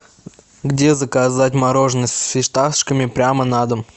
где заказать мороженое с фисташками прямо на дом